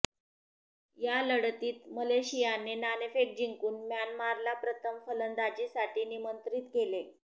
या लढतीत मलेशियाने नाणेफेक जिंकून म्यानमारला प्रथम फलंदाजीसाठी निमंत्रित केले